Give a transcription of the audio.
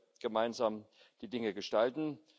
Da werden wir gemeinsam die Dinge gestalten.